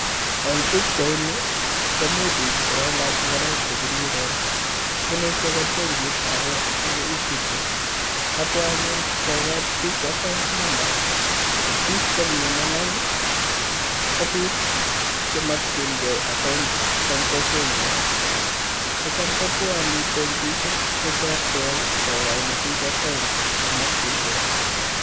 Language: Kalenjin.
En pichaini komi biik chekailach ngoroik chebiriren bunu icheket benkit age neu Equity, kabwa anyun kokoi biik account number. Biik chemine lain ko biik chemokyingei account en kokwenyon kocham kobwone benkisiek cheterter kokoi biik account chemokyingei.